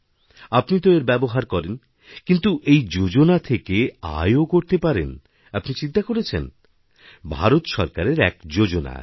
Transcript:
আপনি তো এর ব্যবহারকরেন কিন্তু এই যোজনা থেকে আয়ও করতে পারেন আপনি চিন্তা করেছেন ভারত সরকারের একযোজনা আছে